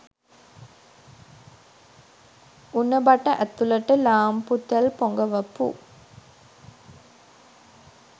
උණ බට ඇතුළට ලාම්පුතෙල් පොඟවපු